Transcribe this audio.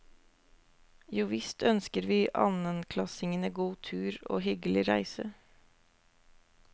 Jo visst ønsker vi annenklassingene god tur og hyggelig reise.